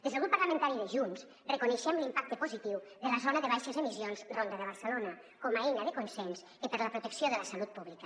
des del grup parlamentari de junts reconeixem l’impacte positiu de la zona de baixes emissions ronda de barcelona com a eina de consens per a la protecció de la salut pública